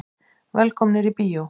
Velkomnir í bíó.